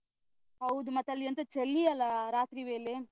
ಹೌದು ಮತ್ತೆ ಅಲ್ಲಿ ಎಂತ ಚಲಿ ಅಲ್ಲಾ ರಾತ್ರಿ ವೇಲೆ?